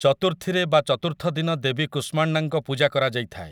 ଚତୁର୍ଥୀରେ ବା ଚତୁର୍ଥ ଦିନ ଦେବୀ କୁଷ୍ମାଣ୍ଡାଙ୍କ ପୂଜା କରାଯାଇଥାଏ ।